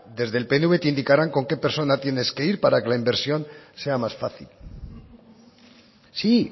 desde el pnv te indicarán con qué persona tienes que ir para que la inversión sea más fácil sí